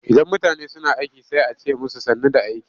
Idan mutane suna aiki sai a ce musu sannu da aiki.